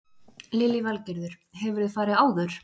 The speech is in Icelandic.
Lillý Valgerður: Hefurðu farið áður?